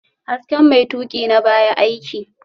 Hasken mai tuƙina baya aiki